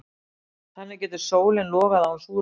Þannig getur sólin logað án súrefnis.